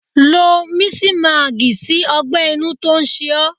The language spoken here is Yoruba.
Lo misimagi sí ọgbẹ-inú tó ń ṣe ó.